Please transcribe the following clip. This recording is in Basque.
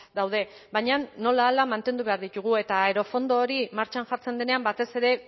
daude baina nolahala mantendu behar ditugu eta aerofondo hori martxan jartzen denean batez ere